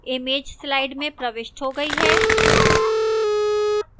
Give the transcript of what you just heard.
image slide में प्रविष्ट हो गई है